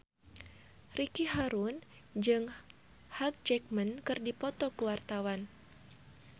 Ricky Harun jeung Hugh Jackman keur dipoto ku wartawan